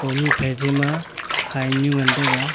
hone phai chei ma hynyu ngan teiga.